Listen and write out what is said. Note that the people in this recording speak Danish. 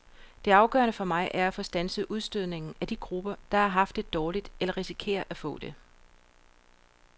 Det afgørende for mig er at få standset udstødningen af de grupper, der har haft det dårligt eller risikerer at få det.